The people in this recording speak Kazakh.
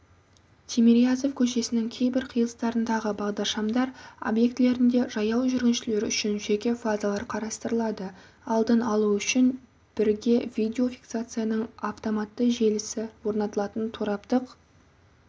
тимирязев көшесінің кейбір қиылыстарындағы бағдаршамдар объектілерінде жаяу жүргіншілер үшін жеке фазалар қарастырылады алдын алу үшін бірге видеофиксацияның автоматты желісі орнатылатын тораптық